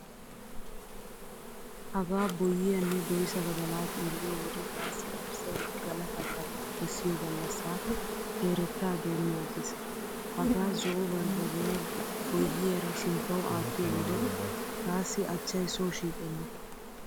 Hagaa boyyiyaanne doysa badala xeelliyo wode taassi garssay galata karen kessiyo gallassaa keerettaa doommi aggiis. Hagaa zo"o barbbariya boyyiyaara sinttawu aattiyo wode taassi achchay soo shiiqenna.